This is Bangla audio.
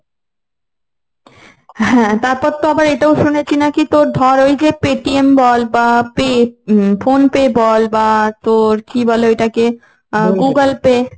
হ্যাঁ তারপর তো আবার এটাও শুনেছি নাকি তোর ধর ওই যে pay TM বল বা pay উম phone pay বল বা তোর কি বলে ওইটাকে google pay